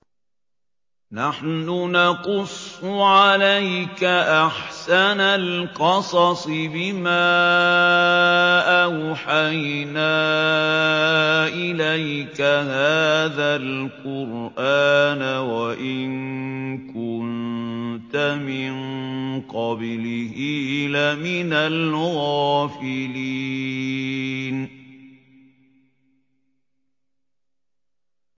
نَحْنُ نَقُصُّ عَلَيْكَ أَحْسَنَ الْقَصَصِ بِمَا أَوْحَيْنَا إِلَيْكَ هَٰذَا الْقُرْآنَ وَإِن كُنتَ مِن قَبْلِهِ لَمِنَ الْغَافِلِينَ